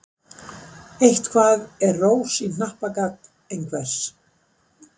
Eitthvað er rós í hnappagat einhvers